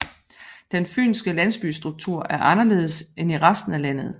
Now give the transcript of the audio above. Den fynske landsbystruktur er anderledes end i resten af landet